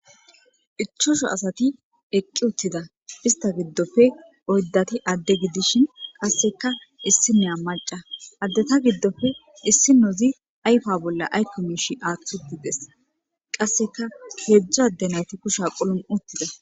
ichosho asati eqqi uttida ista giddofe oyddati adde gidishin qasseka issi neya maca addeta giddofe issi nozi ayfa bolla aykko miish aatht utides qasseka geedzdzo adde nati kusha qulun uttida